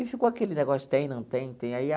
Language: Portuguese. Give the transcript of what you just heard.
E ficou aquele negócio, tem, não tem, tem aí a.